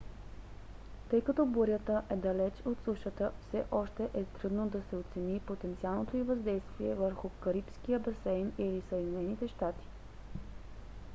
тъй като бурята е далеч от сушата все още е трудно да се оцени потенциалното й въздействие върху карибския басейн или съединените щати